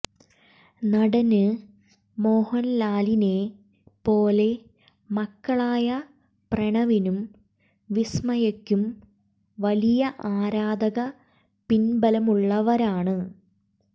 നടന് മോഹന്ലാലിനെ പോലെ മക്കളായ പ്രണവിനും വിസ്മയയ്ക്കും വലിയ ആരാധക പിന്ബലമുള്ളവരാണ്